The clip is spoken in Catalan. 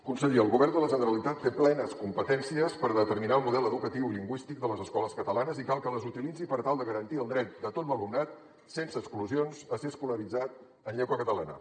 conseller el govern de la generalitat té plenes competències per determinar el model educatiu i lingüístic de les escoles catalanes i cal que les utilitzi per tal de garantir el dret de tot l’alumnat sense exclusions a ser escolaritzat en llengua catalana